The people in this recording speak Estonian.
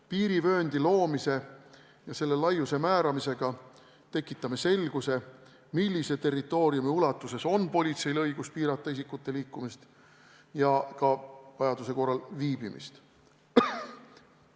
Piirivööndi loomise ja selle laiuse määramisega tekitame selguse, millise territooriumi ulatuses on politseil õigus piirata isikute liikumist ja ka vajaduse korral ka seal viibimist.